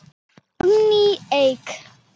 Árný Eik.